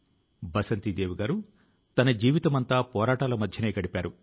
వారు నిత్యం కొత్త కొత్త విషయాలను సేకరిస్తున్నారు